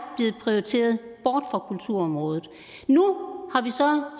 blevet prioriteret bort fra kulturområdet nu har vi så